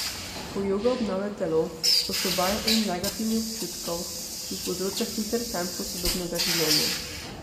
Ko joga obnavlja telo, osvobaja um negativnih občutkov, ki jih povzroča hiter tempo sodobnega življenja.